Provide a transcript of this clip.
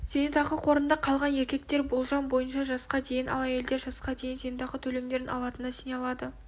зейнетақы қорында қалған еркектер болжам бойынша жасқа дейін ал әйелдер жасқа дейін зейнетақы төлемдерін алатынына сене алады